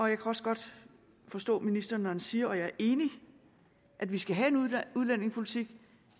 jeg kan også godt forstå ministeren når han siger og jeg er enig at vi skal have en udlændingepolitik